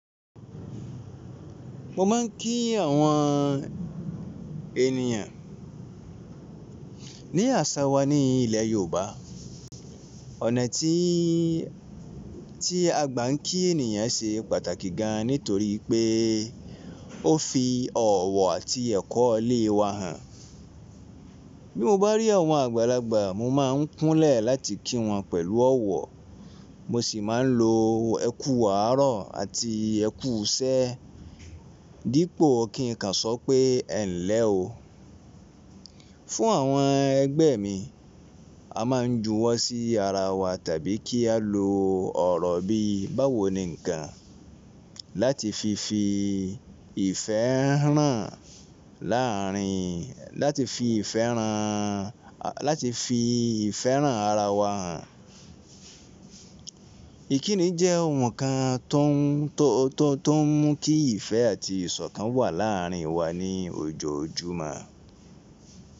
Mo máa ń kí àwọn ènìyàn ní àṣà wa ní ilẹ̀ Yorùbá. Ọ̀nà tí, tí a gbà ń kí ènìyàn ṣe pàtàkì gan nítorí pé ó fi ọ̀wọ̀ àti ẹ̀kọ́ ilé wa hàn. Bí mo bá rí àwọn àgbàlagbà mo máa ń kúnlẹ̀ láti kí wọn pẹ̀lú ọ̀wọ̀. Mo sì máa ń lo ẹ kú àárọ̀ àti ẹ kú iṣẹ́ dípò kín ka sọ pé ẹ ń lẹ́ o. Fún àwọn ẹgbẹ́ mi, a máa ń juwọ́ sí ara wa tàbí kí á lo ọ̀rọ̀ bí báwo ni ǹkan láti fi fi ìfẹ́ ràn láàárín, láti fi ìfẹ́ ràn, láti fi ìfẹ́ràn ara wa hàn. Ìkíni jẹ́ ohùn kan tó ń, tó, tó ń mú kí ìfẹ́ àti ìsọ̀kan wà láàárín wa ní ojoojúmọ́